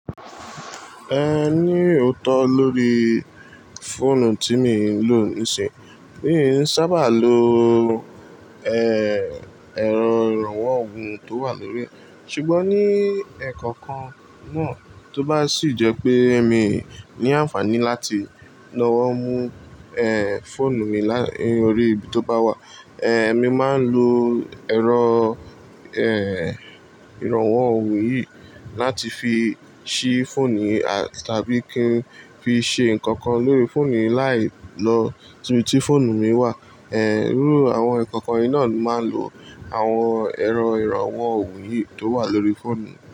Ẹ ní òótọ́ lórí fóònù tí mo ń lò nísìnyí. Mi ò sábà lo, ẹ́, ẹ̀rọ ìrànwọ́ òhùn tó wà lórí rẹ̀. Ṣùgbọ́n ní ẹ̀kọ̀kan náà tó bá sì jẹ́ pé èmi ní ànfàní láti lọ́wọ́ mú, ẹ́, fóònù mi lórí ibi tó bá wà, ẹ́, èmi máa ń lo ẹ̀rọ, ẹ́, ìrànwọ́ òhùn yìí láti fi ṣí fóònù tàbí kí n fi ṣe nǹkan kan lórí fóònù láì lọ ibi tí fóònù mi wà. Ẹ̀, irú àwọn ẹ̀kọ̀kan yìí náà máa ń lo àwọn ẹ̀rọ ìrànwọ́ òhùn yìí tó wà lórí fóònù.